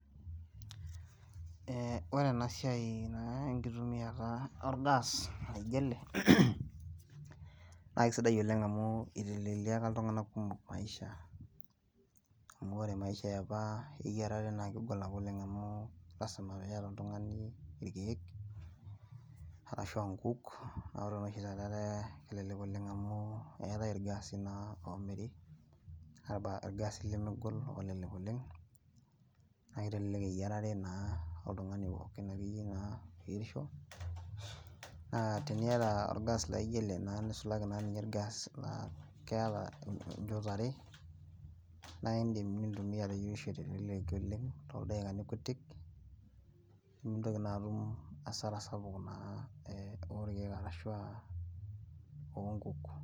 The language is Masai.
Ee ore ena siai enkitumiata naa or gas laijo ele, naa kisidai oleng, amu iteleleika iltunganak kumok maisha, amu ore maisha apa eyiarare naa kegol apa amu lasima pee iyata, ok lotungana irkeek arashu aa nkuk, ore oshi taata etaakelelek Oleng amu keetae irgaasi oomiri, irgaasi lemegol kelelek oleng. naa kitelelek eyiarare naa oltungani pookin akeyie naa, oyierisho, naa teniata orgas laijo ele, nisulaki naa orgas laa keeta, incho t are, naa idim nintumia toldaikaini kutik. Nimitoki naa atum asara sapuk ooonkuk,